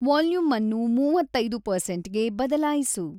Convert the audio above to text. volume ಅನ್ನು ಮೂವತ್ತೈದು ಪರ್ಸೆಂಟ್‌ಗೆ ಬದಲಾಯಿಸು